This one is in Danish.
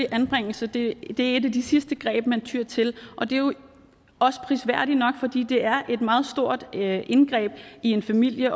at anbringelse er et af de sidste greb man tyer til og det er jo også prisværdigt nok for det er et meget stort indgreb i en families